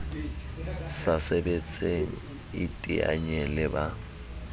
sa sebetseng iteanye le ba